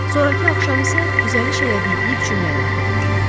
Sonrakı axşam isə düzəliş elədiyi ilk cümləni oxudu.